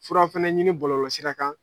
Fura fana ɲini bɔlɔlɔsira kan.